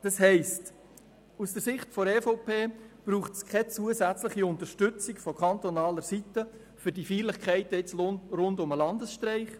Das heisst, aus Sicht der EVP braucht es keine zusätzliche Unterstützung von kantonaler Seite für die Feierlichkeiten rund um den Landesstreik.